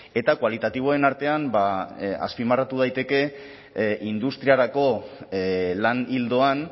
eta kualitatiboen artean azpimarratu daiteke industriarako lan ildoan